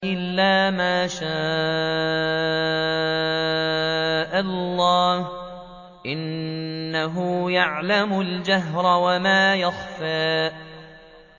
إِلَّا مَا شَاءَ اللَّهُ ۚ إِنَّهُ يَعْلَمُ الْجَهْرَ وَمَا يَخْفَىٰ